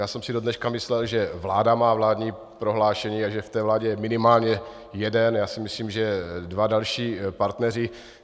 Já jsem si dodneška myslel, že vláda má vládní prohlášení a že v té vládě je minimálně jeden, já si myslím, že dva další partneři.